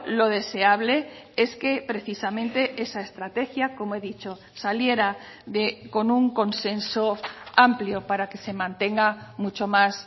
lo deseable es que precisamente esa estrategia como he dicho saliera con un consenso amplio para que se mantenga mucho más